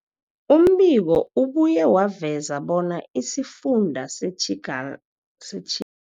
Umbiko ubuye waveza bona isifunda seTjinga seTjinga